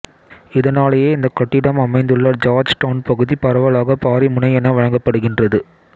இதனாலேயே இந்தக் கட்டிடம் அமைந்துள்ள ஜார்ஜ் டவுன் பகுதி பரவலாக பாரி முனை என வழங்கப்படுகின்றது